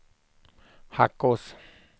Hackås